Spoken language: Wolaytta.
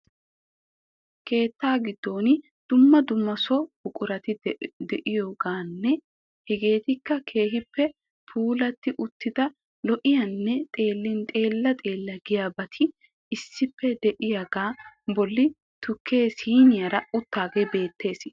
Keetta giddon dumma dumma so buqurati de'iyogaanne hegeetikka keehippe lpuulatti uttida lo''iyanne xeellin xeella xeella giyabati issippe de'iyogaa bolli tukkee siiniyara uttaagee beettees.